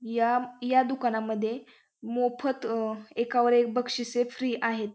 या या दुकांनामध्ये मोफत एकावर एक बक्षिसे फ्री आहेत.